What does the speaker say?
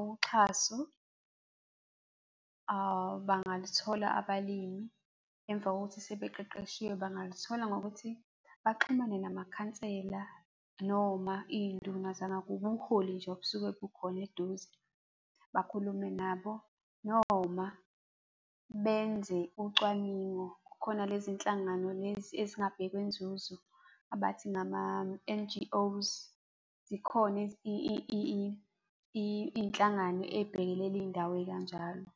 Uxhaso bangaluthola abalimi emva kokuthi sebeqeqeshiwe bangaluthola ngokuthi baxhumane namakhansela noma iy'nduna zangakubo, ubuholi nje obusuke bukhona eduze, bakhulume nabo noma benze ucwaningo. Kukhona lezi nhlangano lezi ezingabhekwe nzuzo, abathi ngama-N_G_Os, zikhona iy'nhlangano ey'bhekelela iy'ndawo ey'kanjalo.